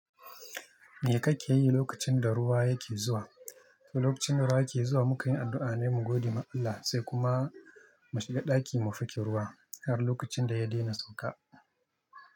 Me kake yi lokacin da ruwa yake zuwa? To, lokacin da ruwa yake zuwa, muke yin addu'a ne mu gode ma Allah, sai kuma mu shiga ɗaki mu fike ruwa har lokacin da ya daina sauka.